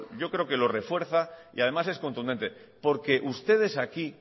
yo creo que lo refuerza y además es contundente porque ustedes aquí